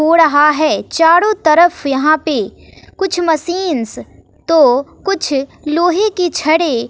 हो रहा है चारों तरफ यहां पे कुछ मशीन्स तो कुछ लोहे की छड़ें--